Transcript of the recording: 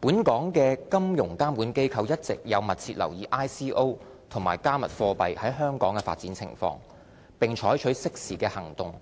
本港金融監管機構一直有密切留意 ICO 和"加密貨幣"在香港的發展情況，並採取適時的行動